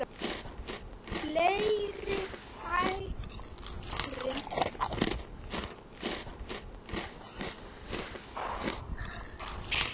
Fleiri færi?